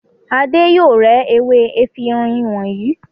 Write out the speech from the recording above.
Adé yóò rẹ́ ewé efirin wọ̀nyí.